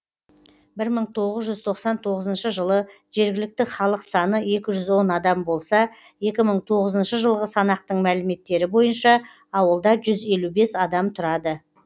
бір мың тоғыз жүз тоқсан тоғызыншы жылы жергілікті халық саны екі жүз он адам болса екі мың тоғызыншы жылы санақтың мәліметтері бойынша ауылда жүз елу бес адам тұрады